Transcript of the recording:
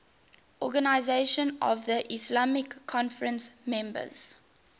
organisation of the islamic conference members